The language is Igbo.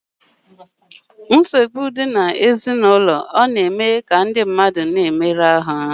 Mmesike ụlọ na eduba na mkparịa anụ ahụ